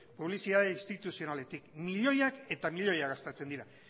publizitate instituzionaletik milioiak eta milioiak gastatzen dira